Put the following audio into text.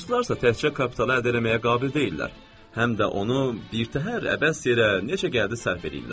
Ruslarsa təkcə kapitalı əldə eləməyə qabil deyillər, həm də onu birtəhər əbəs yerə necə gəldi sərf eləyirlər.